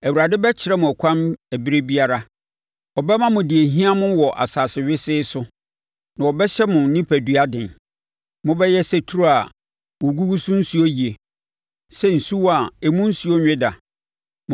Awurade bɛkyerɛ mo ɛkwan ɛberɛ biara; ɔbɛma mo deɛ ɛhia mo wɔ asase wesee so na ɔbɛhyɛ mo onipadua den. Mobɛyɛ sɛ turo a wɔgugu so nsuo yie, sɛ asuwa a emu nsuo nwe da.